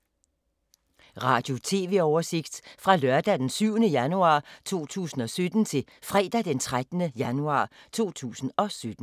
Radio/TV oversigt fra lørdag d. 7. januar 2017 til fredag d. 13. januar 2017